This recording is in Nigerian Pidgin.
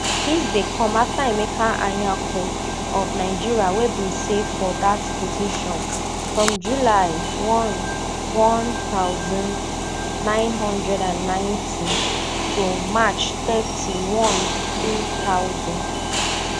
dis dey come afta emeka anyaoku of nigeria wey bin save for dat position from july one one thousand, nine hundred and ninety to march thirty-one two thousand